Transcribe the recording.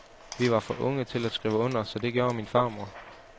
Vi var for unge til at skrive under, så det gjorde min farmor.